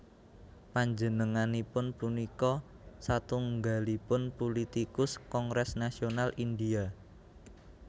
Panjenenganipun punika satunggalipun pulitikus Kongres Nasional Indial